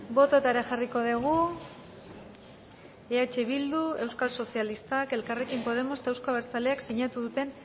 bototara jarriko dugu eh bildu euskal sozialistak elkarrekin podemos eta euzko abertzaleak sinatu duten